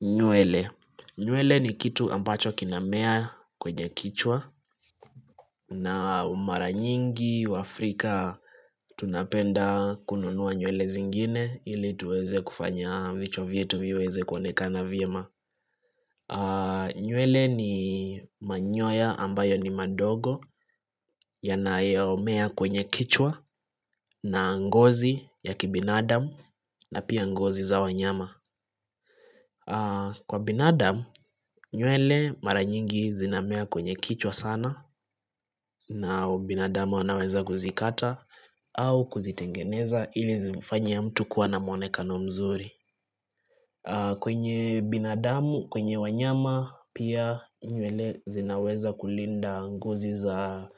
Nywele, nywele ni kitu ambacho kinamea kwenye kichwa na mara nyingi waafrika Tunapenda kununua nywele zingine ili tuweze kufanya vichwa vyetu viweze kuonekana vyema nywele ni manyoya ambayo ni madogo yanayomea kwenye kichwa na ngozi ya kibinadam na pia ngozi za wanyama Kwa binadam, nywele mara nyingi zinamea kwenye kichwa sana na binadamu wanaweza kuzikata au kuzitengeneza ili zifanye mtu kuwa na mwonekano mzuri. Kwenye binadamu, kwenye wanyama pia nywele zinaweza kulinda ngozi za